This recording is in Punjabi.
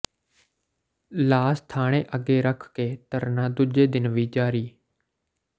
ਲਾਸ਼ ਥਾਣੇ ਅੱਗੇ ਰੱਖ ਕੇ ਧਰਨਾ ਦੂਜੇ ਦਿਨ ਵੀ ਜਾਰੀ